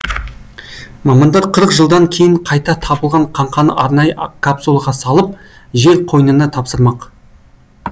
мамандар қырық жылдан кейін қайта табылған қаңқаны арнайы капсулаға салып жер қойынына тапсырмақ